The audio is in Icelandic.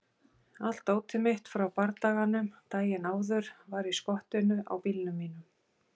Allt dótið mitt frá bardaganum daginn áður var í skottinu á bílnum mínum.